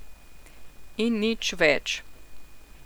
In nič več.